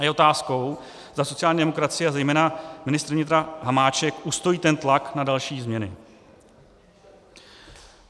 A je otázkou, zda sociální demokracie a zejména ministr vnitra Hamáček ustojí ten tlak na další změny.